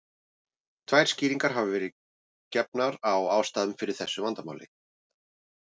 Tvær skýringar hafa verið gefnar á ástæðu fyrir þessu vandamáli.